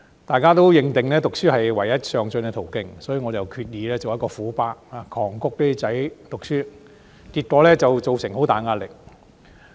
大家都認定讀書是唯一上進的途徑，所以我決意做一個"虎爸"，狂谷兒子讀書，結果造成很大壓力。